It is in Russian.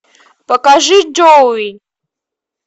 покажи джоуи